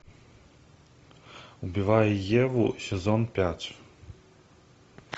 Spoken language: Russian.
убивая еву сезон пять